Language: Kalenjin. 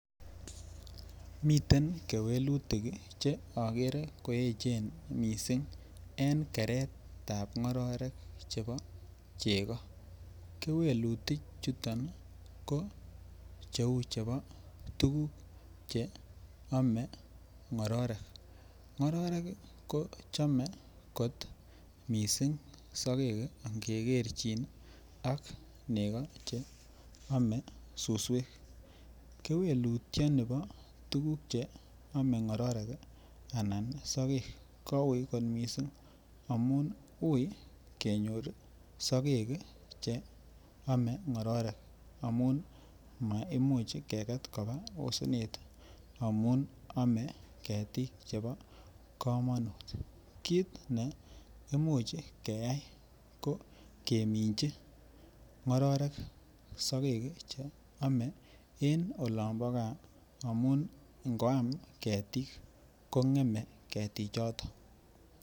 Miten kewelutik Che akere ko echen mising en keretab ngororek chebo chego kewelutik chuto ko cheu chebo tuguk Che ame ngororek ngororek ko chome kot mising sogek angekerchin ak nego Che ame suswek kewelutyoni bo tuguk Che Amee ngororek anan sogek koui kot mising amun uui kenyor sogek Che ame ngororek amun maimuch keget koba osnet amun ame ketik chebo komonut kit ne Imuch keyai ko keminchi ngororek sogek Che Amee en olon bo gaa amun ngo am ketik ko ngemei ketichoto